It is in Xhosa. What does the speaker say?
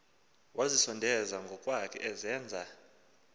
wazisondeza ngokwakhe ezenza